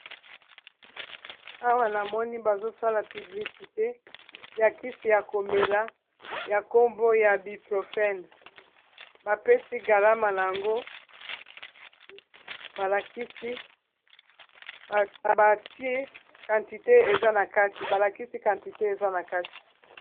Awa namoni bazo sala publicité ya kisi ya komela ya nkombo ya biprofène, ba pesi galama nango balakisi quantité eza na kati.